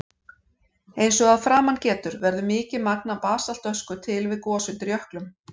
Eins og að framan getur verður mikið magn af basaltösku til við gos undir jöklum.